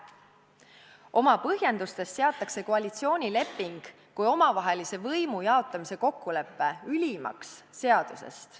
Oma põhjendustes seatakse koalitsioonileping kui omavaheline võimu jaotamise kokkulepe ülimaks seadusest.